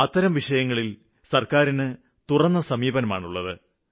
അത്തരം വിഷയങ്ങളില് സര്ക്കാരിന്റെ മനസ്സ് തുറന്നതാണ്